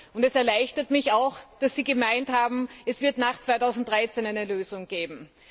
Und es erleichtert mich auch, dass Sie gemeint haben, es werde nach 2013 eine Lösung geben.